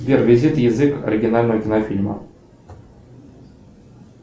сбер визит язык оригинального кинофильма